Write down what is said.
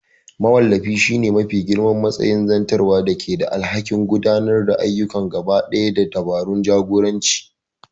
Mawallafi shine mafi girman matsayi na zartarwa da ke da alhakin gudanar da ayyuka gabaɗaya da dabarun jagoranci.